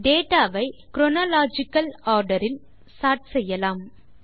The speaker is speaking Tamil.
டேட்டா வை குரோனாலஜிக்கல் ஆர்டர் இல் சோர்ட் செய்யலாம்